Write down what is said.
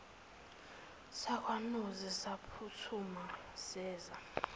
sakwanozi saphuthuma seza